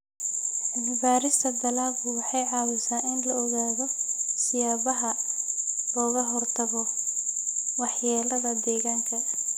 Cilmi-baarista dalaggu waxay caawisaa in la ogaado siyaabaha looga hortago waxyeellada deegaanka.